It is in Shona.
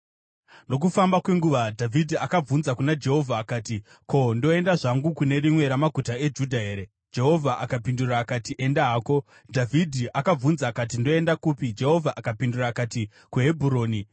Nokufamba kwenguva, Dhavhidhi akabvunza kuna Jehovha akati, “Ko, ndoenda zvangu kune rimwe ramaguta eJudha here?” Jehovha akapindura akati, “Enda hako.” Dhavhidhi akabvunza akati, “Ndoenda kupi?” Jehovha akapindura akati, “KuHebhuroni.”